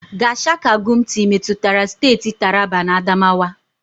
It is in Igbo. Gashaka-Gumti metụtara steeti Taraba na Adamawa.